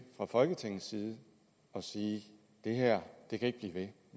fra folketingets side at sige det her kan ikke blive ved